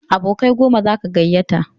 Abokai goma zaka gayyata